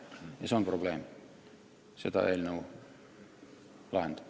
Ja see on probleem, mida eelnõu lahendab.